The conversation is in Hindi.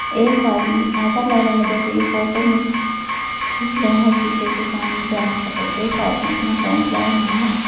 एक आदमी ऐसा लग रहा है जैसे कि फोटो में खींच रहा शीशे के सामने बैठकर और एक आदमी अपना फोन चला रहा है।